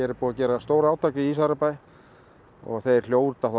búið að gera stórátak í Ísafjarðarbæ og þeir hljóta þá